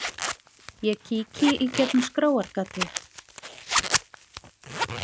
Ég kíki í gegnum skráargatið.